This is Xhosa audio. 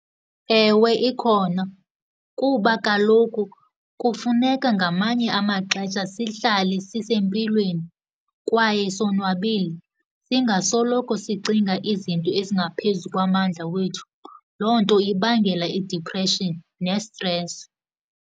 Ewe, ikhona kuba kaloku kufuneka ngamanye amaxesha sihlale sisempilweni kwaye sonwabile, singasoloko sicinga izinto ezingaphezu kwamandla wethu. Loo nto ibangela i-depression nestresi.